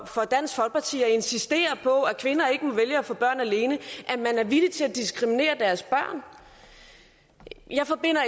for dansk folkeparti at insistere på at kvinder ikke må vælge at få børn alene at man er villig til at diskriminere deres børn jeg forbinder